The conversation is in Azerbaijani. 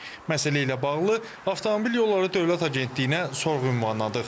Məsələ ilə bağlı Avtomobil Yolları Dövlət Agentliyinə sorğu ünvanladıq.